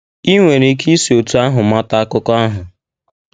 I nwere ike isi otú ahụ mata akụkọ ahụ.